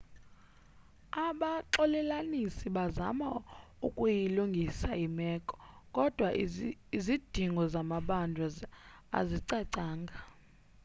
abaxolelanisi bazama ukuyilungisa imeko kodwa izidingo zamabanjwa azicacanga